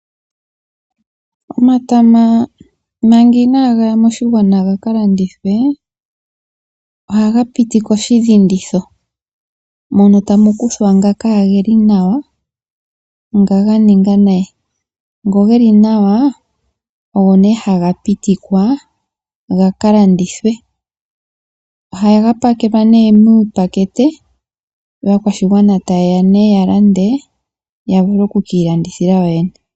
Omatama manga inaga ya moshigwana gaka landithwe, ohaga piti koshidhinditho, mono tamu kuthwa ngoka kageli nawa, ngoka ga ninga nayi. Ngoka geli nawa oho nee haga pitikwa gaka landithwe. Ohaga pakelwa nee muupakete, yo aakwashigwana taye ya nee ya lande, ya vule oku ka ilandithila yoyene.